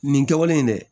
Nin kɛwale in dɛ